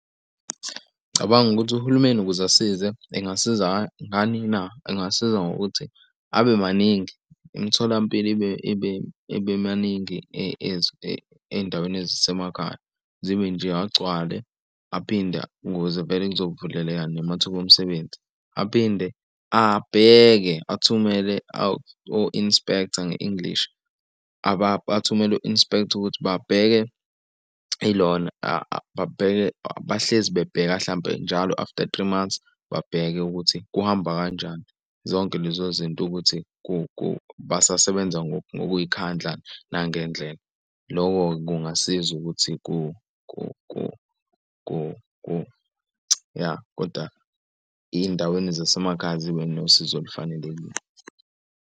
Ngicabanga ukuthi uhulumeni ukuze asize, engasiza ngani na? Engasiza ngokuthi, abe maningi imitholampilo ibe maningi ey'ndaweni ezisemakhaya. Zibe nje agcwale, aphinde ukuze vele kuzovuleleka namathuba omsebenzi, aphinde abheke athumele o-inspector nge-English. Athumele u-inspector ukuthi babheke ilona babheke bahlezi bebheka hlampe njalo after three months, babheke ukuthi kuhamba kanjani. Zonke lezo zinto ukuthi basasebenza ngokuy'khandlani nangendlela loko kungasiza ukuthi , ya koda ey'ndaweni zasemakhaya zibe nosizo olufanelekile.